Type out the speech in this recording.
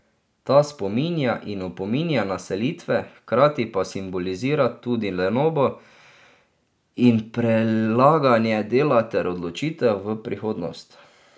Ta spominja in opominja na selitve, hkrati pa simbolizira tudi lenobo in prelaganje dela ter odločitev v prihodnost.